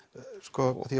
því